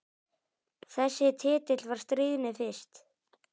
Þessi titill var stríðni fyrst.